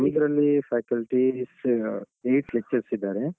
ನಮ್ದ್ರಲ್ಲೀ faculties, eight lectures ಇದ್ದಾರೆ.